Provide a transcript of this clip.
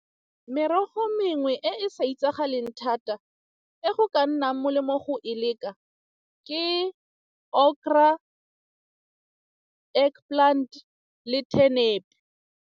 Merogo e mengwe e e sa itsagaleng thata e go ka nnang molemo go e leka ke .